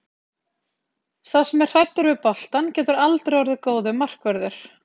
Sá sem er hræddur við boltann getur aldrei orðið góður markvörður.